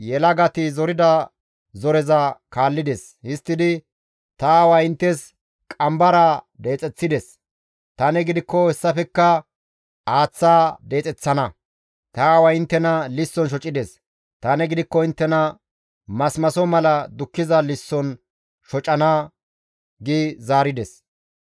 yelagati zorida zoreza kaallides; histtidi, «Ta aaway inttes qambaraa deexeththides; tani gidikko hessafekka aaththa deexeththana. Ta aaway inttena lisson shocides; tani gidikko inttena masimaso mala dukkiza lisson shocana» gi zaarides.